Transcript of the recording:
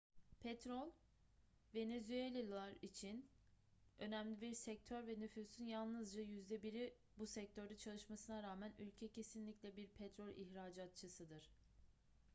petrol venezuelalılar için önemli bir sektör ve nüfusun yalnızca yüzde biri bu sektörde çalışmasına rağmen ülke kesinlikle bir petrol ihracatçısıdır